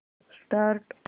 start